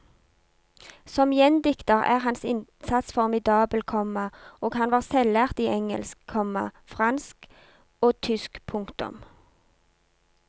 Som gjendikter er hans innsats formidabel, komma og han var selvlært i engelsk, komma fransk og tysk. punktum